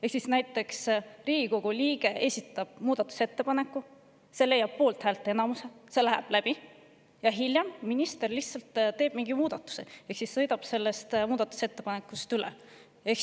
Ehk siis näiteks Riigikogu liige esitab muudatusettepaneku, see läheb poolthäälteenamusega läbi, aga hiljem saab minister teha mingi muudatuse ehk siis ta lihtsalt sõidab sellest muudatusettepanekust üle.